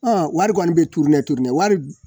wari kɔni bɛ turu ne turu ne wari